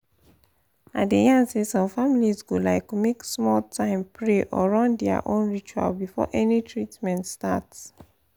i dey yan say some families go like make small time pray or run their own ritual before any treatment start